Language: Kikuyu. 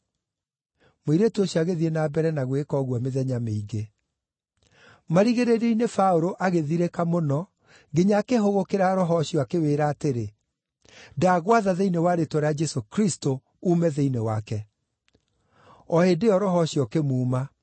Mũirĩtu ũcio agĩthiĩ na mbere na gwĩka ũguo mĩthenya mĩingĩ. Marigĩrĩrio-inĩ Paũlũ agĩthirĩka mũno nginya akĩhũgũkĩra roho ũcio akĩwĩĩra atĩrĩ, “Ndagwatha thĩinĩ wa rĩĩtwa rĩa Jesũ Kristũ uume thĩinĩ wake!” O hĩndĩ ĩyo roho ũcio ũkĩmuuma.